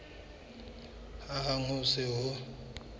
hang ha ho se ho